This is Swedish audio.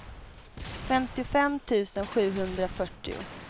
femtiofem tusen sjuhundrafyrtio